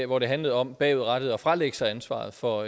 hvor det handlede om bagudrettet at fralægge sig ansvaret for